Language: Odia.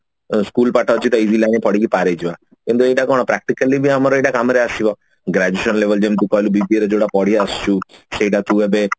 school ପାଠ ଅଛି easily ଆମେ ପଢିକି ପାର ହେଇଯିବା କିନ୍ତୁ ଏଇଟା କଣ practically ବି ଆମର ଏଇଟା କାମରେ ଆସିବ graduation label ତୁ ଯେମତି କହିଲୁ BBA ଯୋଉଟା କରିଆସିଛୁ ସେଟା ତୁ ଏବେ